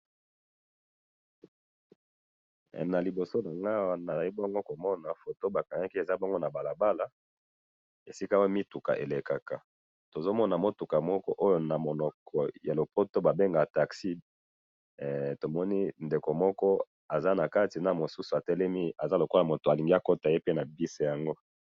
he na liboso nangayi awa nazali komona nazali komona foto yango bakangi na balabala esika mituka elekaka tozomona mutuka oyo ba bengaka taxi pe tozali komona mutu moko azali lokola kolinga kokota nataxi yango.